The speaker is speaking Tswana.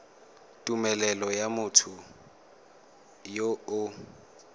tumelelo ya motho yo o